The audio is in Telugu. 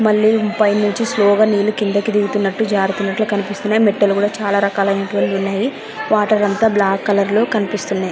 మళ్ళీ పై నుంచి స్లో గా నీళ్ళు కిందకి దిగుతునట్టు జారుతునట్టు కనిపిస్తూనే మెట్లు కూడా చాలా రకా లైనటు వంతువి ఉనాయి .వాటర్ అంతా బ్లాక్ కలర్ లో కనిపిస్తునాయి.